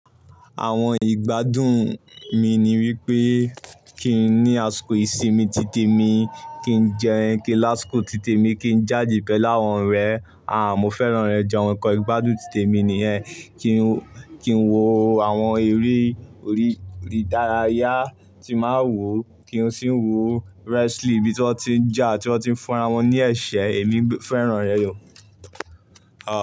Àwọn ìgbádùn mi ni wípé kín ní àsìkò ìsinmi titẹ mi, kí n jẹun, kí lásìkò titẹ mi kí n jáde pẹ́lú àwọn ọ̀rẹ́, à mo fẹ́ràn ẹ jẹun kan ìgbádùn titẹ mi nìyẹn, kí n, kí n wo àwọn eré orí, orí ìdárayá tí máa ń wò, kí n sì ń wò wrestling bí tiwọn tí ń jà, tí wọ́n ti ń fúnra wọn ní ẹ̀ṣẹ̀, èmi fẹ́ràn rẹ̀ yó. À.